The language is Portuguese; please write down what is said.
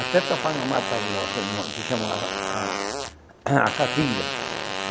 Até tapar na mata grossa, numa que chama a a a catinga.